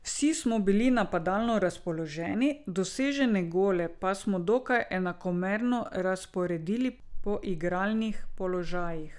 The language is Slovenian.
Vsi smo bili napadalno razpoloženi, dosežene gole pa smo dokaj enakomerno razporedili po igralnih položajih.